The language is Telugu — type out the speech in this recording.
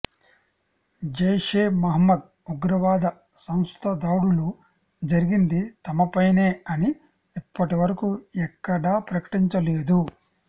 జైషే మహ్మద్ ఉగ్రవాద సంస్థ దాడులు జరిగింది తమపైనే అని ఇప్పటివరకు ఎక్కడా ప్రకటించలేదు